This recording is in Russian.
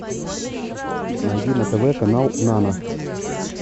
найди на тв канал нано